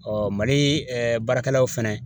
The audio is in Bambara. Mali ɛɛ baarakɛlaw fana